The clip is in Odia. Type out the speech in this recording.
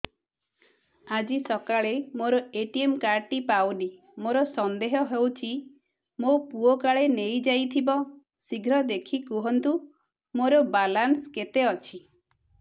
ଆଜି ସକାଳେ ମୋର ଏ.ଟି.ଏମ୍ କାର୍ଡ ଟି ପାଉନି ମୋର ସନ୍ଦେହ ହଉଚି ମୋ ପୁଅ କାଳେ ନେଇଯାଇଥିବ ଶୀଘ୍ର ଦେଖି କୁହନ୍ତୁ ମୋର ବାଲାନ୍ସ କେତେ ଅଛି